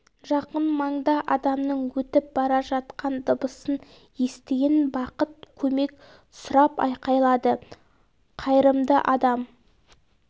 жақын маңда адамның өтіп бара жатқан дыбысын естіген бақыт көмек сұрап айқайлады қайырымды адам